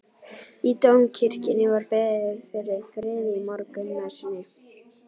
Í Dómkirkjunni var beðið fyrir friði í morgunmessunni.